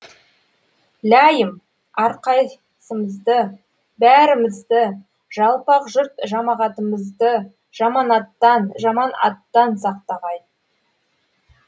ләйім әрқайсымызды бәрімізді жалпақ жұрт жамағатымызды жаманаттан жаман аттан сақтағай